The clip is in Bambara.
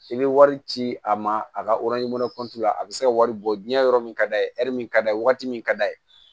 I bɛ wari ci a ma a ka la a bɛ se ka wari bɔ diɲɛ yɔrɔ min ka d'a ye min ka d'a ye waati min ka d'a ye